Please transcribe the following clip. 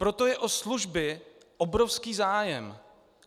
Proto je o služby obrovský zájem.